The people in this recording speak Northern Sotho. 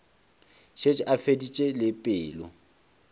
šetše a feditše le pelo